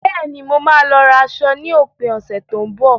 Bẹ́ẹ̀ni, mo máa lọ ra aṣọ ní òpin ọ̀sẹ̀ tó ń bọ̀.